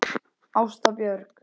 Ásta Björk.